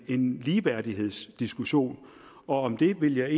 en ligeværdighedsdiskussion om den vil jeg